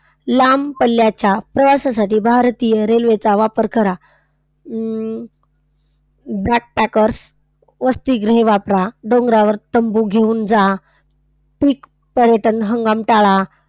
लांब पल्ल्याच्या प्रवासासाठी भारतीय रेल्वेचा वापर करा. अं backpackers वसतिगृहे वापरा. डोंगरावर तंबू घेऊन जा. peak पर्यटन हंगाम टाळा.